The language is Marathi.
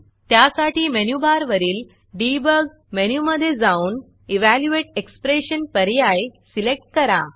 त्यासाठी मेनूबारवरील Debugडिबॉग मेनूमधे जाऊन इव्हॅल्युएट expressionइवॅल्यूयेट एक्सप्रेशन पर्याय सिलेक्ट करा